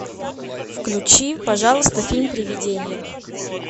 включи пожалуйста фильм привидение